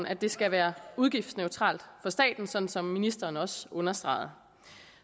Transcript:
at det skal være udgiftsneutralt for staten sådan som ministeren også understregede